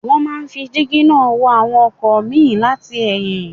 Wọ́n máa ń fi dígí náà wo àwọn ọkọ̀ míì láti ẹ̀yìn